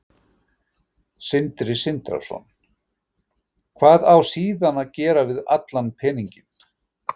Sindri Sindrason: Hvað á síðan að gera við allan peninginn?